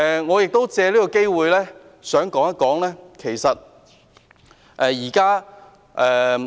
我亦想藉此機會說一說產假問題。